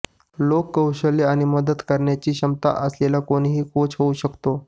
लोक कौशल्य आणि मदत करण्याची क्षमता असलेला कोणीही कोच होऊ शकतो